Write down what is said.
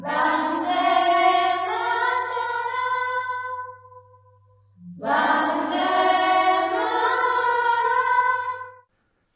Vande Mataram Vande Mataram